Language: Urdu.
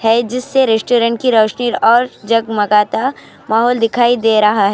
ہے جسے ریسٹورنٹ کے کی روشنی اور جگمگاتا ایک اور دکھائی دے رہا ہے.